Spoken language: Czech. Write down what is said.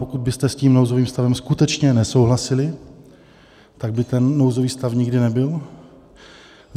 Pokud byste s tím nouzovým stavem skutečně nesouhlasili, tak by ten nouzový stav nikdy nebyl.